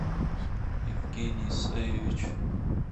евгений исаевич